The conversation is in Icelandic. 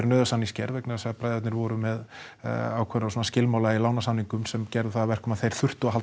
samningsgerð vegna þess að bræðurnir voru með ákveðna skilmála í sem gerðu það að verkum að þeir þurftu að halda